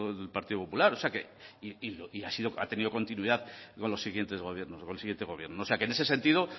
del partido popular o sea que ha tenido continuidad con los siguientes gobiernos con el siguiente gobierno o sea que en ese sentido